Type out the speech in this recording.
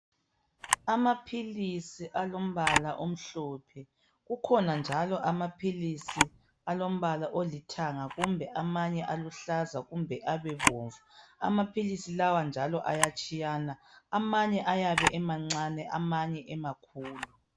Amaphilisi alombala omhlophe. Kukhona njalo amaphilisi alombala olithanga kumbe amanye aluhlaza kumbe abebomvu. Amaphilisi lawa njalo ayatshiyana. Amanye ayabe emancane amanye emakhulu.